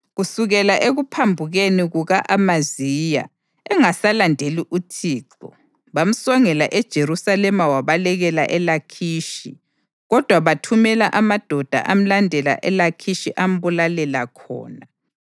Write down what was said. Kusukela ekuphambukeni kuka-Amaziya engasalandeli uThixo, bamsongela eJerusalema wabalekela eLakhishi, kodwa bathumela amadoda amlandela eLakhishi ambulalela khonale.